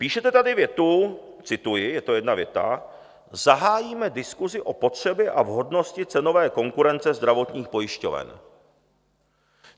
Píšete tady větu - cituji, je to jedna věta: "Zahájíme diskusi o potřebě a vhodnosti cenové konkurence zdravotních pojišťoven."